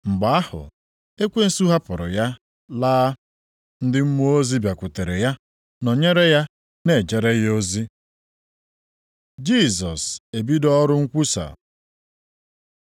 Mgbe ahụ ekwensu hapụrụ ya laa. Ndị mmụọ ozi bịakwutere ya, nọnyere ya, na-ejere ya ozi. Jisọs ebido ọrụ nkwusa